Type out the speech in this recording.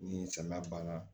Ni samiya banna